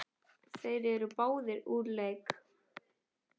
Þeir eru báðir úr leik.